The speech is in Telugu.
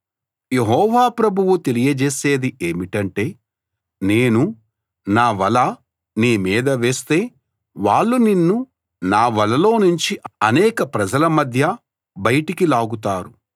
యెహోవా ప్రభువు తెలియజేసేది ఏమిటంటే నేను నా వల నీ మీద వేస్తే వాళ్ళు నిన్ను నా వలలో నుంచి అనేక ప్రజల మధ్య బయటికి లాగుతారు